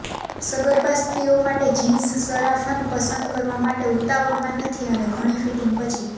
સગર્ભા સ્ત્રીઓ માટે જિન્સ સરાફન પસંદ કરવા માટે ઉતાવળમાં નથી અને ઘણી ફિટિંગ પછી